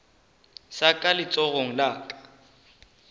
sa ka letsogong la go